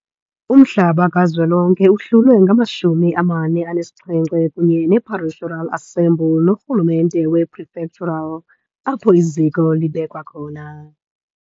Umhlaba kazwelonke uhlulwe ngama-47, kunye ne-parishural assembly kunye ne-rhu lumente ye-prefectural apho iziko libekwa khona.